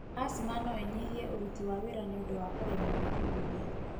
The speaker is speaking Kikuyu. Asthma noĩnyihie ũruti wa wira nĩũndu wa kũremwo kũhuhia.